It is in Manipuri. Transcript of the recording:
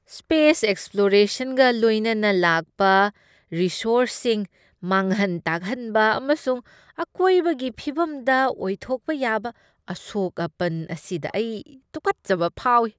ꯁ꯭ꯄꯦꯁ ꯑꯦꯛꯁꯄ꯭ꯂꯣꯔꯦꯁꯟꯒ ꯂꯣꯏꯅꯅ ꯂꯥꯛꯄ ꯔꯤꯁꯣꯔꯁꯁꯤꯡ ꯃꯥꯡꯍꯟ ꯇꯥꯛꯍꯟꯕ ꯑꯃꯁꯨꯡ ꯑꯀꯣꯏꯕꯒꯤ ꯐꯤꯚꯝꯗ ꯑꯣꯏꯊꯣꯛꯄ ꯌꯥꯕ ꯑꯁꯣꯛ ꯑꯄꯟ ꯑꯁꯤꯗ ꯑꯩ ꯇꯨꯀꯠꯆꯕ ꯐꯥꯎꯏ꯫